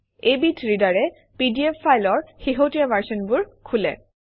এইবিধ ৰীডাৰে পিডিএফ ফাইলৰ শেহতীয়া ভাৰ্চনবোৰ খোলে